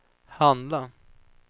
handla